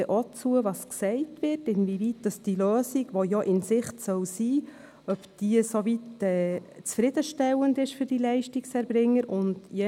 Wir werden auch gleich zuhören und danach beurteilen, inwieweit die Lösung, die in Sicht sein soll, für die Leistungserbringer zufriedenstellend ist.